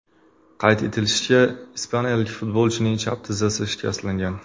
Qayd etilishicha, ispaniyalik futbolchining chap tizzasi shikastlangan.